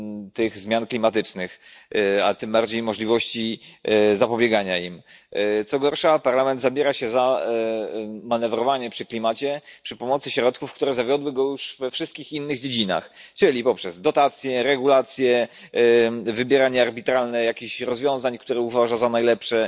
tych zmian klimatycznych, a tym bardziej możliwości zapobiegania im. Co gorsza, Parlament zabiera się za manewrowanie przy klimacie przy pomocy środków, które zawiodły go już we wszystkich innych dziedzinach, czyli poprzez dotacje, regulacje, arbitralne wybieranie jakichś rozwiązań, które uważa za najlepsze,